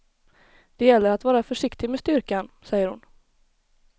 Det gäller att vara försiktig med styrkan, säger hon.